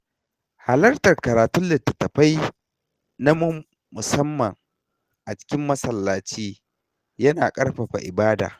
Halartar karatun littattafai na musamman a cikin masallaci ya na ƙarfafa ibada.